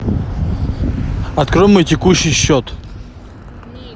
открой мой текущий счет